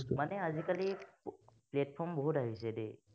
আজিকালি platform বহুত আহিছে দেই।